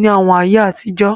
ní àwọn ayé àtijọ́